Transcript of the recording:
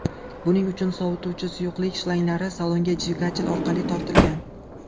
Buning uchun sovituvchi suyuqlik shlanglari salonga dvigatel orqali tortilgan.